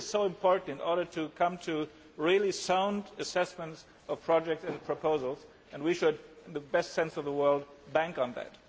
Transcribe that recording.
This is so important in coming to a really sound assessment of projects and proposals and we should, in the best sense of the word, bank on that.